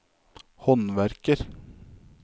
håndverker